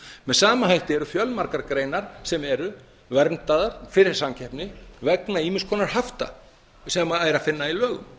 með sama hætti eru fjölmargar greinar sem eru verndaðar fyrir samkeppni vegna ýmiss konar hafta sem er að finna í lögum